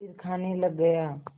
फिर खाने लग गया